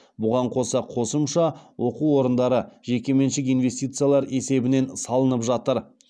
бұған қоса қосымша оқу орындары жекеменшік инвестициялар есебінен салынып жатыр